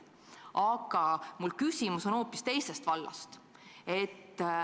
Aga mu küsimus on hoopis teisest vallast.